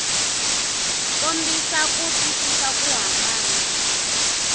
kombisa ku twisisa ku hambana